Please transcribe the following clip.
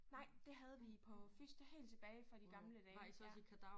Nej det havde vi på fys det helt tilbage fra de gamle dage ja